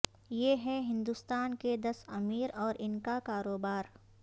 یہ ہیں ہندوستان کے دس امیر اور ان کا کاروبار